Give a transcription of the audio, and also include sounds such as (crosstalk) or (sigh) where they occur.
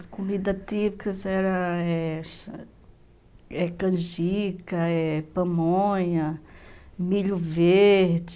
As comidas típicas eram (unintelligible) canjica, pamonha, milho verde...